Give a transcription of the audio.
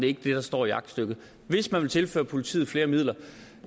ikke det der står i aktstykket hvis man vil tilføre politiet flere midler